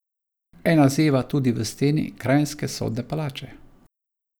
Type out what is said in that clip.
Ena zeva tudi v steni kranjske sodne palače.